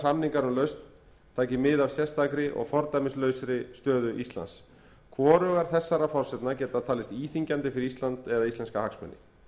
samningar um lausn taki mið af sérstakri og fordæmislausri stöðu íslands hvorug þessara forsendna geta talist íþyngjandi fyrir ísland eða íslenska hagsmuni